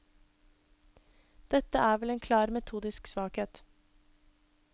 Dette er vel en klar metodisk svakhet?